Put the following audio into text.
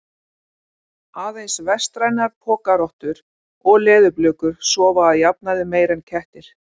Aðeins vestrænar pokarottur og leðurblökur sofa að jafnaði meira en kettir.